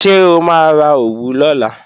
Ṣé o máa ra òwú lọ́la?